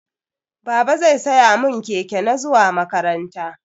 Baba zai siya mun keke na zuwa makaranta.